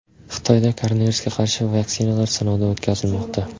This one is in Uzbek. Xitoyda koronavirusga qarshi vaksinalar sinovdan o‘tkazilmoqda.